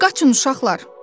Qaçın uşaqlar!